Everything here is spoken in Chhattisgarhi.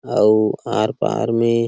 आऊ आर पार में--